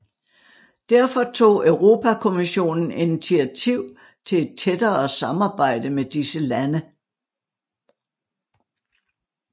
Derfor tog Europakommissionen initiativ til et tættere samarbejde med disse lande